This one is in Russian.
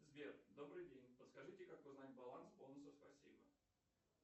сбер добрый день подскажите как узнать баланс бонусов спасибо